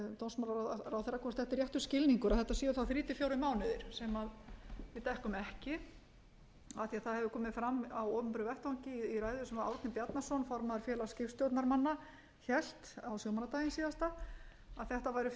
dómsmálaráðherra hvort þetta sé réttur skilningur og þetta séu þá þrjá til fjórir mánuðir sem við dekkum ekki af því að það hefur komið fram á opinberum vettvangi í ræðu sem árni bjarnason formaður félags skipstjórnarmanna hélt á sjómannadaginn síðasta að þetta væri fimm til sex